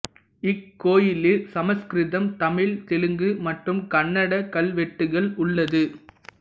இக்கோயிலில் சமஸ்கிருதம் தமிழ் தெலுங்கு மற்றும் கன்னடக் கல்வெட்டுகள் உள்ளது